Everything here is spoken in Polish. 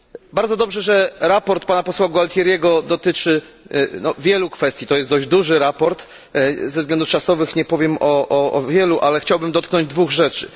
Bardzo dobrze, że raport pana posła Gualtieriego dotyczy wielu kwestii, to jest dość duży raport. Ze względów czasowych nie powiem o wielu, ale chciałbym dotknąć dwóch rzeczy.